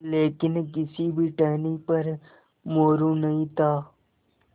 लेकिन किसी भी टहनी पर मोरू नहीं था